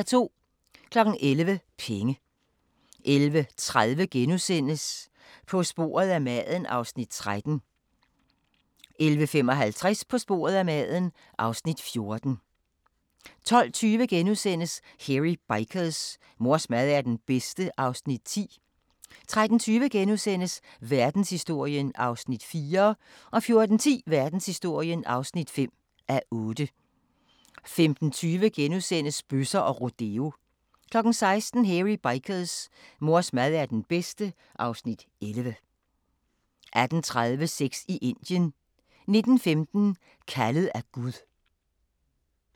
11:00: Penge 11:30: På sporet af maden (Afs. 13)* 11:55: På sporet af maden (Afs. 14) 12:20: Hairy Bikers: Mors mad er den bedste (Afs. 10)* 13:20: Verdenshistorien (4:8)* 14:10: Verdenshistorien (5:8) 15:20: Bøsser og rodeo * 16:00: Hairy Bikers: Mors mad er den bedste (Afs. 11) 18:30: Sex i Indien 19:15: Kaldet af Gud